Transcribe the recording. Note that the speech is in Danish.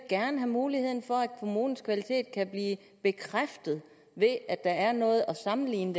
gerne have muligheden for at kommunens kvalitet kan blive bekræftet ved at der er noget at sammenligne